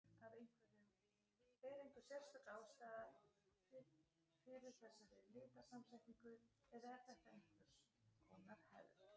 Er einhver sérstök ástæða fyrir þessari litasamsetningu, eða er þetta einhvers konar hefð?